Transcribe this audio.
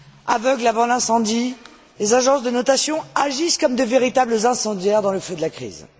Aveugles avant l'incendie, les agences de notation agissent comme de véritables incendiaires dans le feu de la crise.